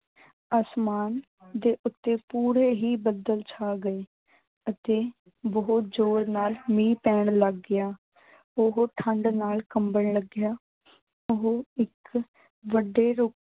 ਅਸਮਾਨ ਦੇ ਉੱਤੇ ਪੂਰੇ ਹੀ ਬੱਦਲ ਛਾ ਗਏ ਅਤੇ ਬਹੁਤ ਜ਼ੋਰ ਨਾਲ ਮੀਂਹ ਪੈਣ ਲੱਗ ਗਿਆ। ਓਹੋ ਠੰਡ ਨਾਲ ਕੰਬਣ ਲੱਗਿਆ। ਓਹੋ ਇੱਕ ਵੱਡੇ